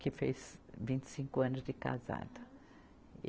que fez vinte e cinco anos de casado. e